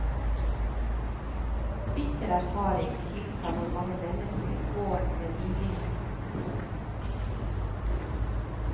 Bitter erfaring tilsa hvor mange mennesker gården med rimelighet kunne fø.